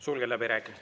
Sulgen läbirääkimised.